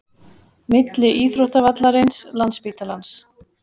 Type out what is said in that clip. Milli íþróttavallarins, landsspítalans